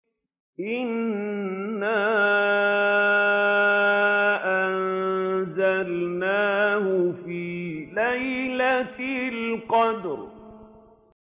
إِنَّا أَنزَلْنَاهُ فِي لَيْلَةِ الْقَدْرِ